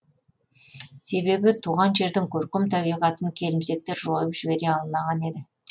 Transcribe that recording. себебі туған жердің көркем табиғатын келімсектер жойып жібере алмаған еді